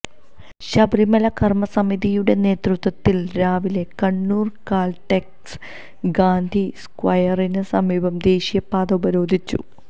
ശബരിമല കർമസമിതിയുടെ നേതൃത്വത്തിൽ രാവിലെ കണ്ണൂർ കാൽടെക്സ് ഗാന്ധി സ്ക്വയറിന് സമീപം ദേശീയപാത ഉപരോധിച്ചു